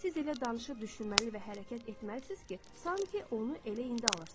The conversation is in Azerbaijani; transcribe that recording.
Siz elə danışıb düşünməli və hərəkət etməlisiniz ki, sanki onu elə indi alırsınız.